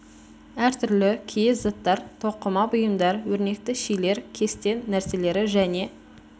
әртүрлі киіз заттар тоқыма бұйымдар өрнекті шилер кесте нәрселері және